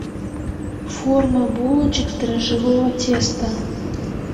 форма булочек из дрожжевого теста